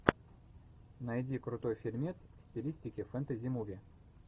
найди крутой фильмец в стилистике фэнтези муви